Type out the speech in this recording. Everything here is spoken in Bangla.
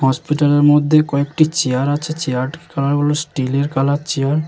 হসপিটাল -এর মধ্যে কয়েকটি চেয়ার আছে চেয়ার -এর কালার -গুলো স্টিল -এর কালার -এর চেয়ার ।